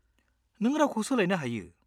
-नों रावखौ सोलायनो हायो।